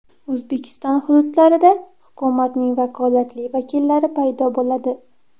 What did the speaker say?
O‘zbekiston hududlarida hukumatning vakolatli vakillari paydo bo‘ladi .